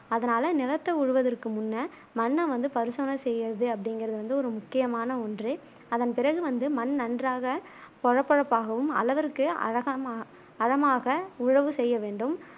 அதனால நிலத்தை உழுவதற்கு முன்ன மண்ண வந்து பரிசோதனை செய்ய்யுரது அப்டிங்குறது வந்து ஒரு முக்கியமான ஒன்று அதன் பிறகு வந்து மண் நன்றாக கொழகொழப்பாகவும் அளவிற்கு அலகா அழமாக உழவு செய்ய வேண்டும்